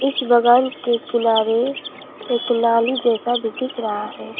इस बगल के किनारे एक नाली जैसा भी दिख रहा है।